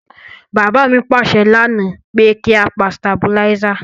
Bàbá mi pàsẹ lánáà pe ki a pa stabilizer